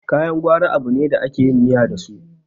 kayan gwari abune da ake yin miya dasu